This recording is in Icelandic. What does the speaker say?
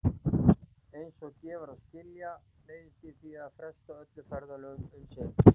Eins og gefur að skilja neyðist ég því til að fresta öllum ferðalögum um sinn.